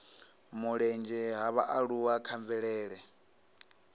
mulenzhe ha vhaaluwa kha mvelele